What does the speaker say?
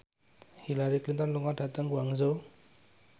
Hillary Clinton lunga dhateng Guangzhou